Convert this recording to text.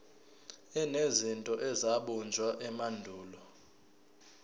enezinto ezabunjwa emandulo